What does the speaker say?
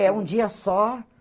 É um dia só.